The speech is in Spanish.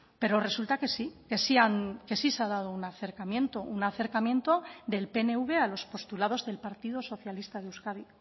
pero resulta que sí que sí se ha dado un acercamiento un acercamiento del pnv a los postulados del partido socialista de euskadi